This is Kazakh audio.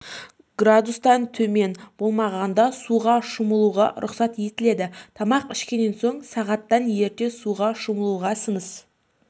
градустан төмен боламағанда суға шомылуға рұқсат етіледі тамақ ішкенен соң сағаттан ерте суға шомылуға сыныс